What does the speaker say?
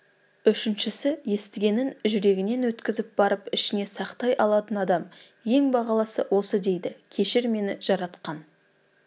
үшіншісі естігенін жүрегінен өткізіп барып ішіне сақтай алатын адам ең бағалысы осы дейді кешір мені жаратқан